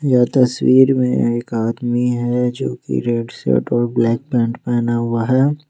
यह तस्वीर मे एक आदमी है जो कि रेड शर्ट और ब्लैक पैंट पहना हुआ है।